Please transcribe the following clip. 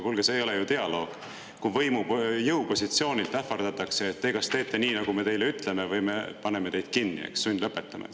Kuulge, see ei ole ju dialoog, kui jõupositsioonilt ähvardatakse, et te kas teete nii, nagu me teile ütleme, või me paneme teid kinni, eks, sundlõpetame.